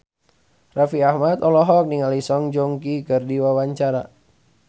Raffi Ahmad olohok ningali Song Joong Ki keur diwawancara